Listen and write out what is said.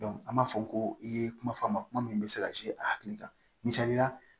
an b'a fɔ ko i ye kuma fɔ a ma kuma min bɛ se ka a hakili la misali la